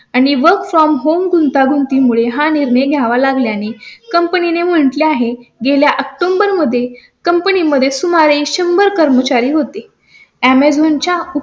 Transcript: आणि work from home गुंतागुंती मुळे हा निर्णय घ्यावा लागला आणि कंपनीने म्हटले आहे. गेल्या ऑक्टोबरमध्ये कंपनी मध्ये सुमारे शंभर कर्मचारी होती. अॅमेझॉन च्या